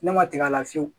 Ne ma tigɛ a la fiyewu